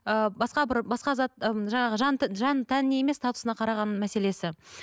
ыыы басқа бір басқа зат ммм жаңағы жан тәніне емес статусына қараған мәселесі